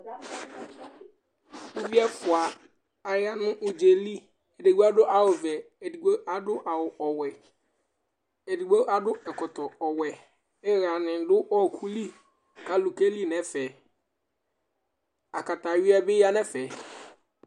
Uvi ɛfʋa ayanu ʋdzaɛli Ɛɖigbo aɖu awu vɛ Ɛɖigbo aɖu awu ɔwɛ Ɛɖigbo aɖu ɛkɔtɔ ɔwɛ Ihaŋi ɖu ɔkuli kʋ alu keli ŋu ɛfɛ Akakaya bi yaŋʋ ɛfɛ